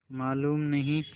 मालूम नहीं